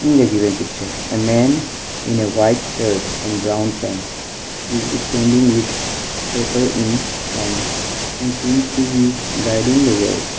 in the given picture a man in white shirt and brown pant is standing with paper in hand and seems to be guiding the work.